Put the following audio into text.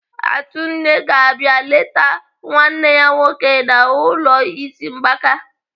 Atunne ga-abịa eleta nwanne ya nwoke nọ n'ụlọ ịsị mgbaka.